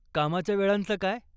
कामाच्या वेळांचं काय?